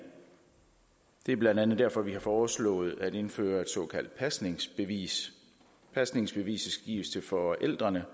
det er blandt andet derfor vi har foreslået at indføre et såkaldt pasningsbevis pasningsbeviset skal gives til forældrene